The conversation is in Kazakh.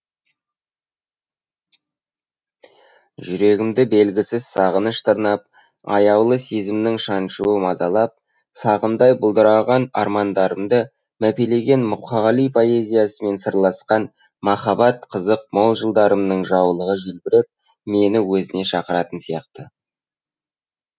жүрегімді белгісіз сағыныш тырнап аяулы сезімнің шаншуы мазалап сағымдай бұлдыраған армандарымды мәпелеген мұқағали поэзиясымен сырласқан махаббат қызық мол жылдарымның жаулығы желбіреп мені өзіне шақыратын сияқты